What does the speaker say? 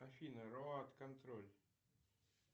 афина роад контроль